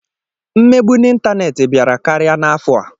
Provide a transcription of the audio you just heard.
Mmegbu n'Ịntaneti bịara karịa n'afọ a.